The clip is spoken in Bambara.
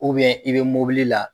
i bɛ mobili la.